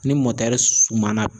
Ni sumana